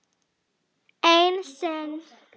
Ein sýn.